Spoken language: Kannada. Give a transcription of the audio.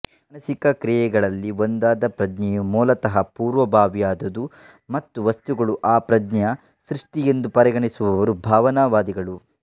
ಮಾನಸಿಕ ಕ್ರಿಯೆಗಳಲ್ಲಿ ಒಂದಾದ ಪ್ರಜ್ಞೆಯು ಮೂಲತಃ ಪೂರ್ವಭಾವಿಯಾದುದು ಮತ್ತು ವಸ್ತುಗಳು ಆ ಪ್ರಜ್ಞೆಯ ಸೃಷ್ಟಿ ಎಂದು ಪರಿಗಣಿಸುವವರು ಭಾವನಾವಾದಿಗಳು